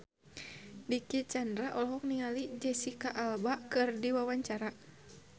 Dicky Chandra olohok ningali Jesicca Alba keur diwawancara